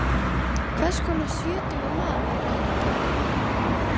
Hvers konar sjötugur maður heldurðu að hann hefði orðið?